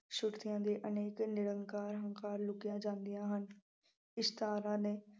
ਸ਼ਕਤੀਆਂ ਦੇ ਅਨੇਕ ਨਿਰੰਕਾਰ ਹੰਕਾਰ ਲੁਕੀਆਂ ਜਾਂਦੀਆਂ ਹਨ। ਇਸ ਥਾਂ ਵਾਲੇ